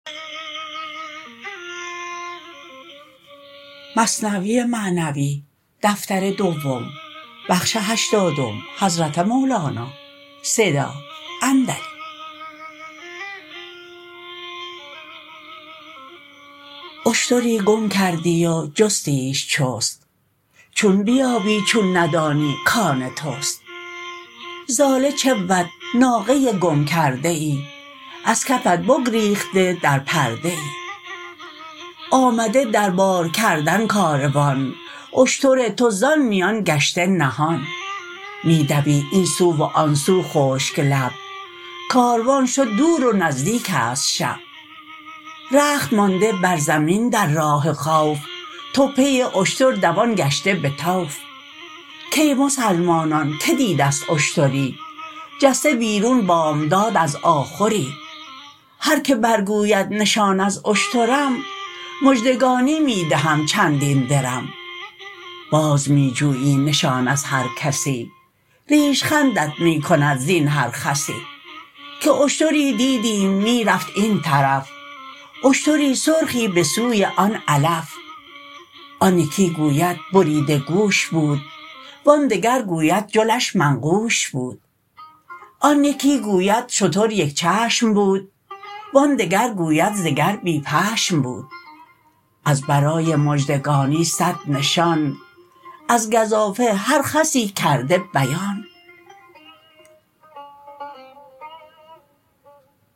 اشتری گم کردی و جستیش چست چون بیابی چون ندانی کان تست ضاله چه بود ناقه گم کرده ای از کفت بگریخته در پرده ای آمده در بار کردن کاروان اشتر تو زان میان گشته نهان می دوی این سو و آن سو خشک لب کاروان شد دور و نزدیکست شب رخت مانده بر زمین در راه خوف تو پی اشتر دوان گشته به طوف کای مسلمانان که دیده ست اشتری جسته بیرون بامداد از آخری هر که بر گوید نشان از اشترم مژدگانی می دهم چندین درم باز می جویی نشان از هر کسی ریش خندت می کند زین هر خسی که اشتری دیدیم می رفت این طرف اشتری سرخی به سوی آن علف آن یکی گوید بریده گوش بود وآن دگر گوید جلش منقوش بود آن یکی گوید شتر یک چشم بود وآن دگر گوید ز گر بی پشم بود از برای مژدگانی صد نشان از گزافه هر خسی کرده بیان